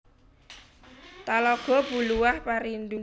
Talago Buluah Parindu